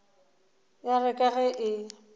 ya re ka ge e